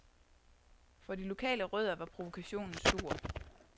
For de lokale rødder var provokationen stor.